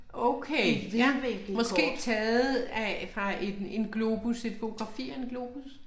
Okay ja, måske taget af fra en en globus, et fotografi af en globus?